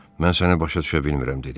Mən səni başa düşə bilmirəm dedi.